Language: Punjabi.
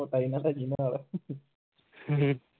ਮੋਟਾ ਇਹਨਾਂ ਦਾ ਜਿਗਰ ਆਲਾ